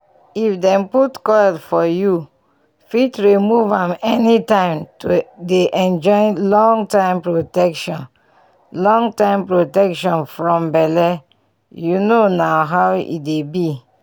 if dem put coil for youu fit remove am anytime to dey enjoy long-time protection long-time protection from belleyou know na how e dey bi